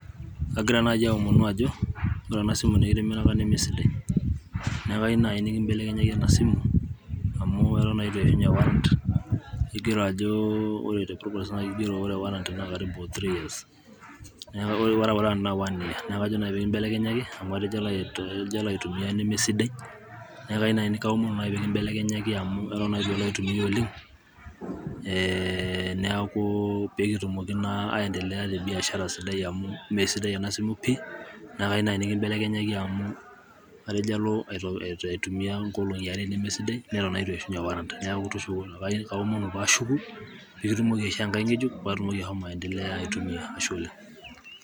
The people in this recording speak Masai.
kagira naaji aaomunu ajo ore ena simu nikitimiraka nemesidai. neeku mayieu naaji nikibelekenyaki ena simu, amu eton naa eitu eishunye warranty ,keigero ajo ore warranty naa three years .neeku kajo naaji pee kibelekenyaki amu atejo alo aitumia neme sidai. neeku kaomonu naaji pee kilo aibelekenyaki amu eton naa eitu alo aitumia oleng, neeku pee kitumoki naa aendelea te biashara sidai, amu mme sidai ena simu pii, neeku kayieu naaji nikibelekenyaki amu atejo alo aitumia inkolongi are nemesidai. neton naa eitu eishunye warranty ,neeku kaomonu pee ashuku, pee kitumoki aishoo enkae ng'ejuk, pee atumoki ashomo aitumia.